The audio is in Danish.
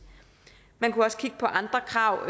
man kunne også kigge på andre krav